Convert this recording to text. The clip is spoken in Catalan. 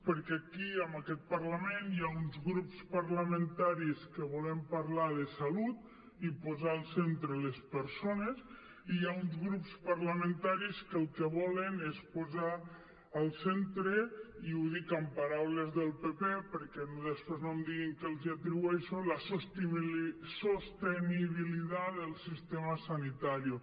perquè aquí en aquest parlament hi ha uns grups parlamentaris que volem parlar de salut i posar al centre les persones i hi ha uns grups parlamentaris que el que volen és posar al centre i ho dic en paraules del pp perquè després no em diguin que els hi atribueixo la sostenibilidad del sistema sanitario